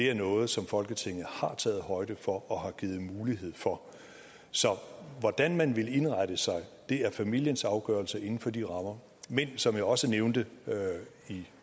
er noget som folketinget har taget højde for og har givet mulighed for så hvordan man vil indrette sig er familiens afgørelse inden for de rammer men som jeg også nævnte i